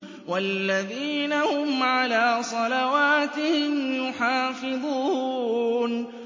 وَالَّذِينَ هُمْ عَلَىٰ صَلَوَاتِهِمْ يُحَافِظُونَ